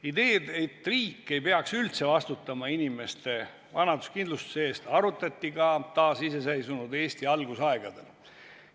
Ideed, et riik ei peaks üldse vastutama inimeste vanaduskindlustuse eest, arutati ka taasiseseisvunud Eesti algusaegadel.